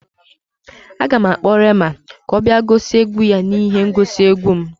Aga m akpọ Reema ka ọ bịa gosi egwu ya n'ihe ngosi egwu m